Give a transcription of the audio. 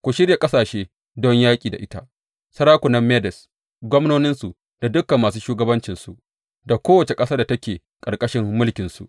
Ku shirya ƙasashe don yaƙi da ita, sarakunan Medes, gwamnoninsu da dukan masu shugabancinsu da kowace ƙasar da take ƙarƙashin mulkinsu.